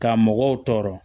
Ka mɔgɔw tɔɔrɔ